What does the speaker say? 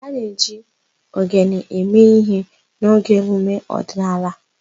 A na-eji ogene eme ihe n'oge emume ọdịnala.